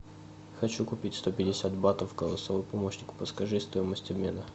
хочу купить сто пятьдесят батов голосовой помощник подскажи стоимость обмена